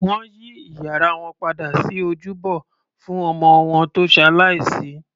Wọn yí ìyàrá wọn padà sí ojúbọ fún ọmọ wọn tó ṣalàìsí